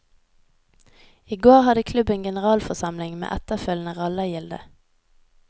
I går hadde klubben generalforsamling, med etterfølgende rallargilde.